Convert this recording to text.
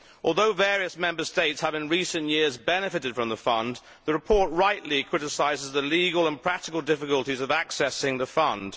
Although various Member States have in recent years benefited from the Fund, the report rightly criticises the legal and practical difficulties of accessing the Fund.